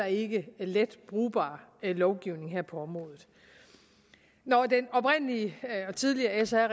ikke let brugbar lovgivning her på området når den tidligere sr